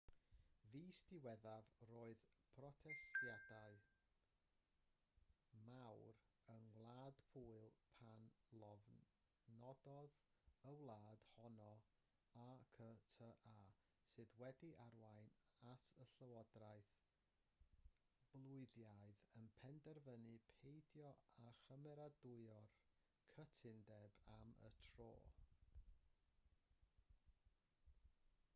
fis diwethaf roedd protestiadau mawr yng ngwlad pwyl pan lofnododd y wlad honno acta sydd wedi arwain at y llywodraeth bwylaidd yn penderfynu peidio â chymeradwyo'r cytundeb am y tro